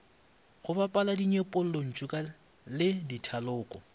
go bapala dinyepollantšu le dithaloko